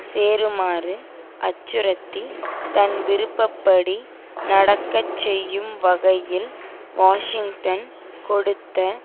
சேருமாறு அச்சுறுத்தி தன்விருப்பப்படி நடக்கச்செய்யும் வகையில் வாஷிங்டன் கொடுத்த